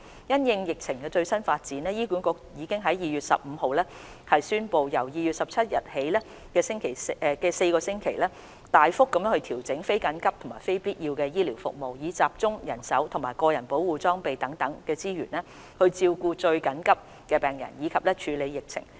因應疫情最新發展，醫管局已於2月15日宣布，由2月17日起的4星期，大幅度調整非緊急及非必要醫療服務，以集中人手及個人保護裝備等資源照顧最緊急的病人及處理疫情。